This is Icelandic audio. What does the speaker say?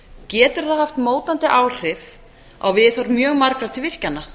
getur það haft mótandi áhrif á viðhorf mjög margra til virkjana